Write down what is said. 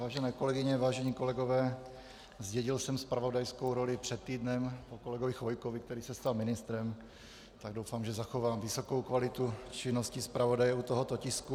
Vážené kolegyně, vážení kolegové, zdědil jsem zpravodajskou roli před týdnem po kolegovi Chvojkovi, který se stal ministrem, tak doufám, že zachovám vysokou kvalitu činnosti zpravodaje u tohoto tisku.